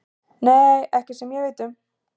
Nei, ekki sem ég veit um.